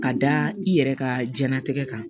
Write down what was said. Ka da i yɛrɛ ka jiyɛnlatigɛ kan